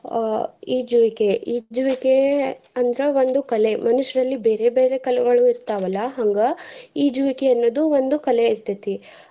ಅಹ್ ಈಜುವೀಕೆ, ಈಜುವೀಕೆ ಅಂದ್ರ ಒಂದು ಕಲೆ ಮನುಷ್ಯರಲ್ಲಿ ಬೇರೆ ಬೇರೆ ಕಲೆಗಳು ಇರ್ತಾವಲ್ಲ ಹಂಗ ಈಜುವಿಕೆ ಅನ್ನೋದು ಒಂದು ಕಲೆ ಇರ್ತೇತಿ.